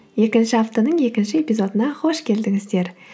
екінші аптаның екінші эпизодына қош келдіңіздер